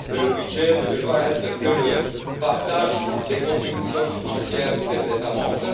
Le budget ne peut pas se limiter au partage des contributions financières des États membres.